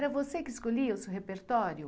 Era você que escolhia o seu repertório?